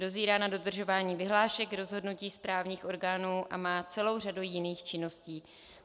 Dozírá nad dodržováním vyhlášek, rozhodnutí správních orgánů a má celou řadu jiných činností.